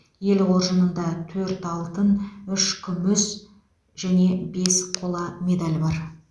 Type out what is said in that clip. ел қоржынында төрт алтын үш күміс және бес қола медаль бар